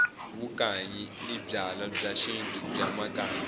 vukanyi i byalwa bya xintu bya makanyi